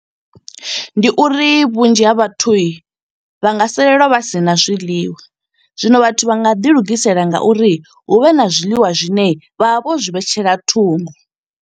Ndi uri vhunzhi ha vhathu, vha nga salelwa vha sina zwiḽiwa. Zwino vhathu vha nga ḓi lugisela nga uri, hu vhe na zwiḽiwa zwine vha vha vho zwi vhetshela thungo.